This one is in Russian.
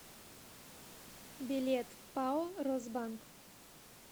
билет пао росбанк